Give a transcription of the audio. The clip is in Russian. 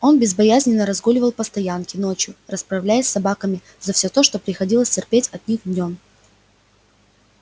он безбоязненно разгуливал по стоянке ночью расправляясь с собаками за всё то что приходилось терпеть от них днём